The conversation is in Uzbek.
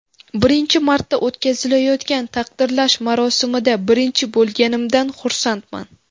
Birinchi marta o‘tkazilayotgan taqdirlash marosimida birinchi bo‘lganimdan xursandman.